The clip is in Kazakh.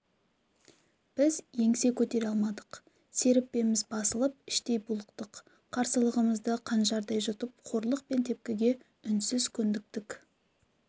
біз еңсе көтере алмадық серіппеміз басылып іштей булықтық қарсылығымызды қанжардай жұтып қорлық пен тепкіге үнсіз көндіктік